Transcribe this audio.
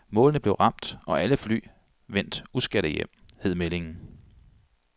Målene blev ramt og alle fly vendt uskadte hjem, hed meldingen.